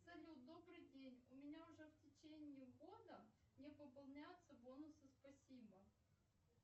салют добрый день у меня уже в течение года не пополняются бонусы спасибо